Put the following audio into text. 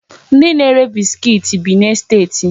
Ndi na-ere biskit bi n'esteti.